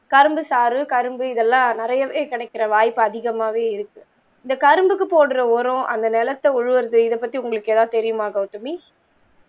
கரும்பு சாறு கரும்பு இதல்லாம் நிறையவே கிடைக்கிற வாய்ப்பு அதிகமாகவே இருக்கு இந்த கரும்புக்கு போடுற ஓரம் அந்த நிலத்த உழுவது இத பத்தி உங்களுக்கு எதாவது தெரியுமா கவுதமி